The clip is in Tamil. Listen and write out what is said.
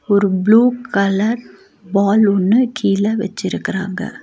ஒரு ப்ளூ கலர் பால் ஒன்னு கீழ வெச்சிருக்குறாங்க.